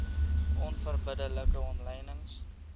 onverbidde like omlynings